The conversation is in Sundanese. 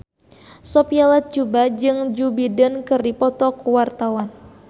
Sophia Latjuba jeung Joe Biden keur dipoto ku wartawan